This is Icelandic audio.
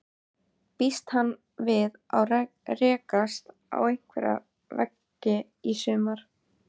Býst hann við að rekast á einhverja veggi í sumar?